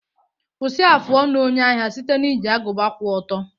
Kwụsị afụ ọnụ onye ahịa site na iji agụba kwụ ọtọ.